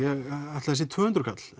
ætli það sé tvö hundruð kall